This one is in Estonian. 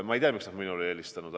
Ma ei tea, miks nad minule ei helistanud.